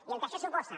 i el que això suposa